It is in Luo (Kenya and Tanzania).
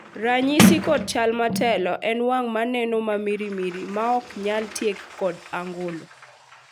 ranyisi kod chal motelo en wang' manoneno mamirimiri ma ok nyal tieki kod angolo